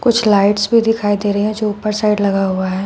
कुछ लाइट्स भी दिखाई दे रहे हैं जो ऊपर साइड लगा हुआ है।